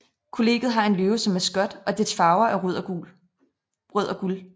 Kollegiet har en løve som maskot og dets farver er rød og guld